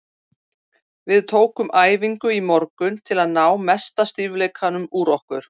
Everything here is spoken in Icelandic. Við tókum æfingu í morgun til að ná mesta stífleikanum úr okkur.